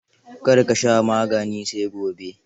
Kar ka sha maganin sai gobe.